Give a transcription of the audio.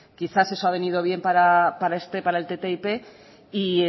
quizás eso ha venido bien para este para el ttip y